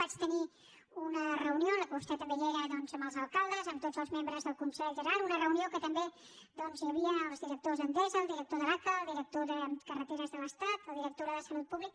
vaig tenir una reunió en la qual vostè també hi era doncs amb els alcaldes amb tots els membres del consell general una reunió en què també hi havia doncs el director d’endesa el director de l’aca el director de carreteres de l’estat la directora de salut pública